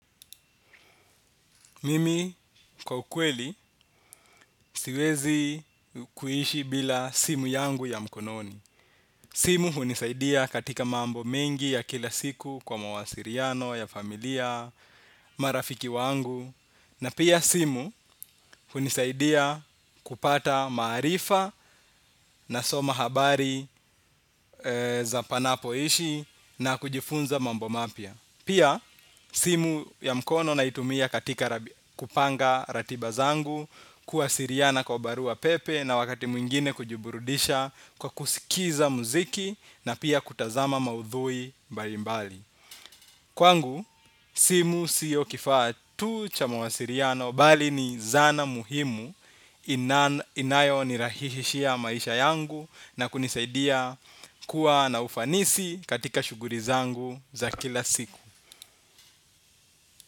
Mimi kwa ukweli siwezi kuishi bila simu yangu ya mkononi. Simu hunisaidia katika mambo mengi ya kila siku kwa mawasiriano, ya familia, marafiki wangu. Na pia simu hunisaidia kupata maarifa nasoma habari za panapoishi na kujifunza mambo mapia. Pia simu ya mkono naitumia katika kupanga ratiba zangu kuwasiriana kwa barua pepe na wakati mwingine kujiburudisha kwa kusikiza muziki na pia kutazama maudhui mbalimbali. Kwangu, simu siyo kifaa tu cha mwasiriano bali ni zana muhimu inayo nirahishia maisha yangu na kunisaidia kuwa na ufanisi katika shuguri zangu za kila siku.